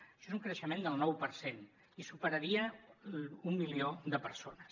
això és un creixement del nou per cent i superaria un milió de persones